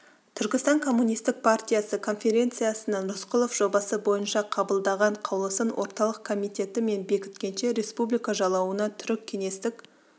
түркістан комунистік партиясы конференциясының рысқұлов жобасы бойынша қабылдаған қаулысын орталық комитеті мен бекіткенше республика жалауына түрік кеңестік